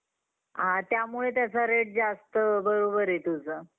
अ त्यामुळे त्याचा rate जास्त आहे. बरोबर आहे तुझं.